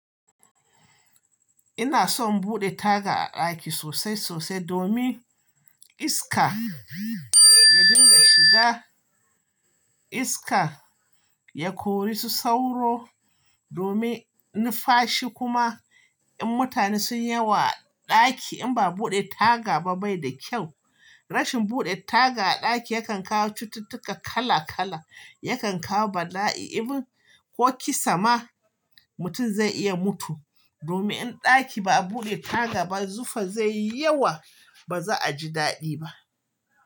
Ina son buɗe taga a ɗaki sosai sosai domin iska ya dinga shiga, iska ya kori su sauro domin nu fashi kuma in mutane sunyi yawa a ɗaki in ba a buɗe taga ba bai da kyau. Rashin buɗe taga a ɗaki yakan kawo cututtuka kala kala, yakan kawo bala'i, ko kisa ma mutum zai iya mutum. Domin in ɗaki ba a buɗe taga ba, zufa zai yi yawa ba za a ji daɗi ba.